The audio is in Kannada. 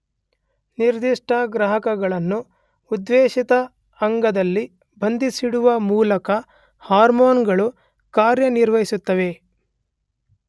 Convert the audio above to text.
ನಿರ್ದಿಷ್ಟ ಗ್ರಾಹಕಗಳನ್ನು ಉದ್ದೇಶಿತ ಅಂಗದಲ್ಲಿ ಬಂಧಿಸಿಡುವ ಮೂಲಕ ಹಾರ್ಮೋನುಗಳು ಕಾರ್ಯನಿರ್ವಹಿಸುತ್ತವೆ.